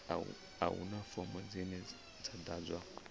a huna fomo dzine dza ḓadzwa